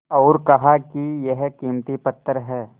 और कहा कि यह कीमती पत्थर है